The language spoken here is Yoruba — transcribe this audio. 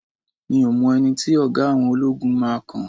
mi o mọ ẹni tí oga àwọn ologun máa kan